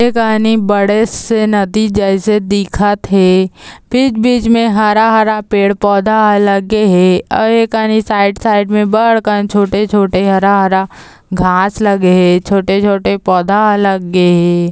ए कानी बड़े से नदी जैसे दिखत हे बीच-बीच मे हरा-हरा पेड़ पौधा लगे हे ए कानी साइड साइड मे बड़ कानी छोटे-छोटे हरा-हरा घास लगे हे छोटे-छोटे पौधा ह लगे हे ।